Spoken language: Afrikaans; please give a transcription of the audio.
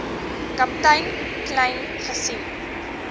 kaptein kleyn gesien